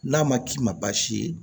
N'a ma k'i ma baasi ye